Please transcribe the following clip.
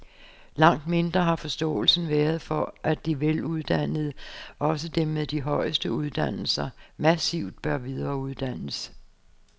Langt mindre har forståelsen været for, at de veluddannede, også dem med de højeste uddannelser, massivt bør videreuddannes.